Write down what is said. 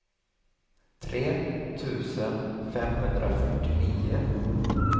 tre tusen femhundrafyrtionio